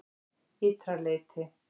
Ytra leyti